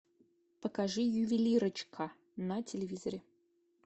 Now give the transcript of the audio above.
покажи ювелирочка на телевизоре